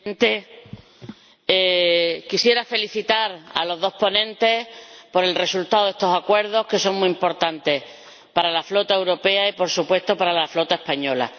Señor Presidente, quisiera felicitar a los dos ponentes por el resultado de estos acuerdos, que son muy importantes para la flota europea y, por supuesto, para la flota española.